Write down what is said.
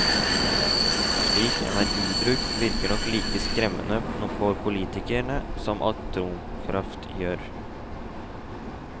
Slik energibruk virker nok like skremmende på politikere som atomkraft gjør.